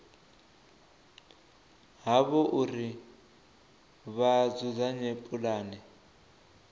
havho uri vha dzudzanye pulane